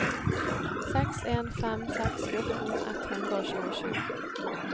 seks en fem seks fjorten ett hundre og tjuesju